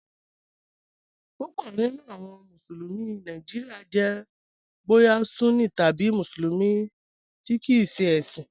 Púpọ̀ nínu awọn Musulumi Nàìjíríà jẹ̀ bóyà Sunní tabi Musulumi tí kìí ṣẹ ẹ̀ṣin.